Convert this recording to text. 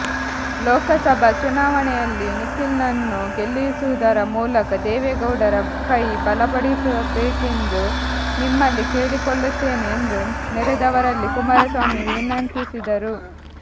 ಲೋಕಸಭಾ ಚುನಾವಣೆಯಲ್ಲಿ ನಿಖಿಲ್ನನ್ನು ಗೆಲ್ಲಿಸುವುದರ ಮೂಲಕ ದೇವೇಗೌಡರ ಕೈ ಬಲಪಡಿಸಬೆಕೆಂದು ನಿಮ್ಮಲ್ಲಿ ಕೇಳಿಕೊಳ್ಳುತ್ತೆನೆ ಎಂದು ನೆರೆದವರಲ್ಲಿ ಕುಮಾರಸ್ವಾಮಿ ವಿನಂತಿಸಿದರು